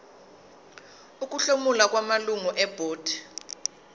ukuhlomula kwamalungu ebhodi